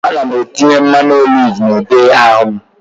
Ana m etinye mmanụ oliv na ude ahụ m